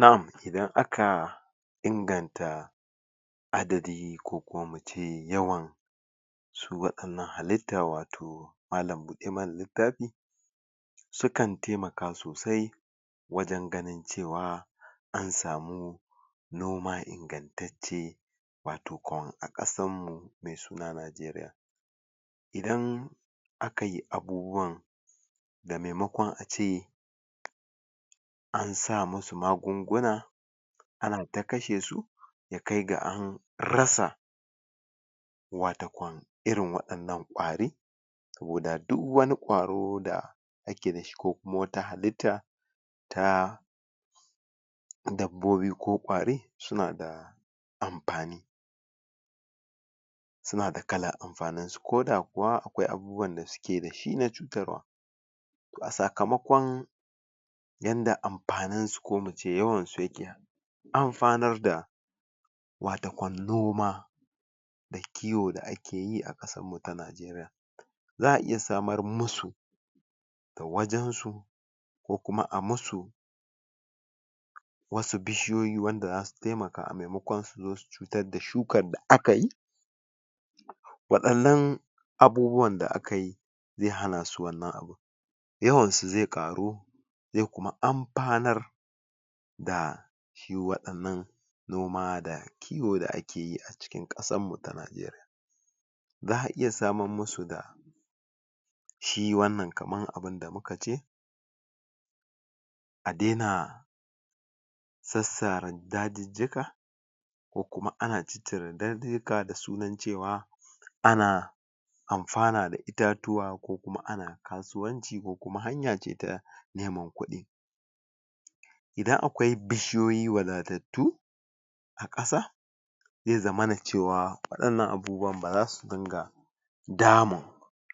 Na'am, idan aka inganta adadi ko kuma mu ce yawan su waɗannan halitta, watau malam-buɗe-mana-littafi sukan taimaka sosai wajen ganin cewa an samu noma ingantacce watakwan a ƙasarmu mai suna Najeriya Idan aka yi abubuwan maimakon a ce an sa musu magunguna ana ta kashe su, ya kai ga an rasa watakwan irin waɗannan ƙwari koda duk wani ƙwaro da ake da shi ko kuma wata halitta ta dabbobi ko ƙwari suna da amfani Suna da kalar amfaninsu koda kuwa akwai abubuwan da suke da shi na cutarwa sakamakon yanda amfaninsu ko mu ce yawansu yake amfanar da watakwan noma da kiwo da ake yi a ƙasarmu ta Najeriya za a iya samar musu wajensu ko kuma a musu wasu bishiyoyi da za su taimaka a maimakon su zo su cutar da shukar da za a yi waɗannan abubuwan da aka yi zai hana su wannan abin yawansu zai ƙaru ya kuma amfanar da shi waɗannan noma da kiwo da ake yi a cikin ƙasarmu ta Najeriya Za a iya samar musu da shi wannan kamar abin da muka ce a daina sassaran dajijjika ko kuma ana cire dajijjika da sunan cewa ana amfana da itatuwa ko kuma ana kasuwanci ko kuma hanya ce ta neman kuɗi idan akwai bishiyoyi wadatattu a ƙasa zai zamana cewa waɗannan abubuwan ba za su dinga damun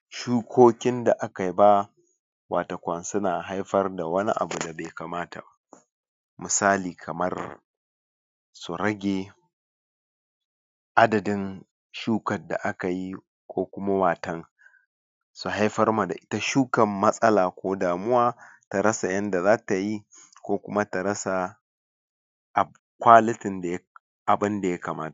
shukokin da aka yi ba watakwan suna haifar da wani abu da bai kamata ba Misali, kamar su rage adadin shukar da aka yi ko kuma waton su haifar ma da ita shukar matsala ko damuwa ta rasa yanda za ta yi ko kuma ta rasa kwalitin da um abin da ya kamata.